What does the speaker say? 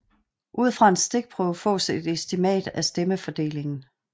Ud fra en stikprøve fås et estimat af stemmefordelingen